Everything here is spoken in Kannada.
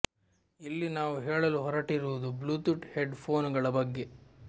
ಇಲ್ಲಿ ನಾವು ಹೇಳಲು ಹೊರಟಿರುವುದು ಬ್ಲೂಟೂಥ್ ಹೆಡ್ ಫೋನ್ ಗಳ ಬಗ್ಗೆ